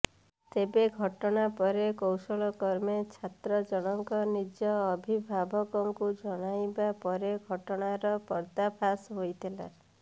ତେବେ ଘଟଣା ପରେ କୌଶଳ କ୍ରମେ ଛାତ୍ର ଜଣଙ୍କ ନିଜ ଅଭିଭାବକଙ୍କୁ ଜଣାଇବା ପରେ ଘଟଣାର ପର୍ଦ୍ଦାଫାଶ ହୋଇଥିଲା